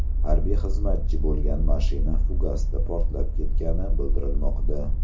Harbiy xizmatchi bo‘lgan mashina fugasda portlab ketgani bildirilmoqda.